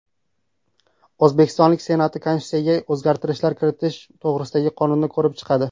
O‘zbekiston Senati Konstitutsiyaga o‘zgartishlar kiritish to‘g‘risidagi qonunni ko‘rib chiqadi.